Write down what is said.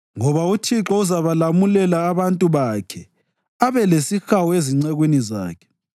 Ngoba uThixo uzabalamulela abantu bakhe abe lesihawu ezincekwini zakhe.